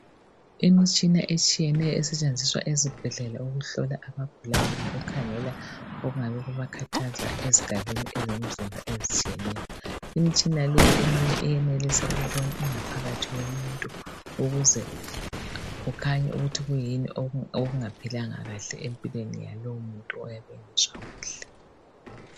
Imitshina etshiyeneyo esetshenziswayo ezibhedlela ukuhlola abagulayo, lokukhangela okungabe kubakhathaza ezigabeni zomzimba ezitshiyeneyo, imtshina leyi eminye iyenelisa ukubona ingaphakathi yomuntu ukuze kukhanye ukuthi yikuyini okunga philanga kahle empilweni yalomuntu oyabe engezwa kahle.